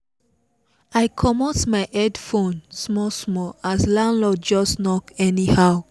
i komot my headphones small small as landlord just knock anyhow